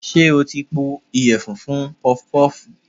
Ṣé o ti po ìyẹ̀fun funpọpọ́ọ̀fù?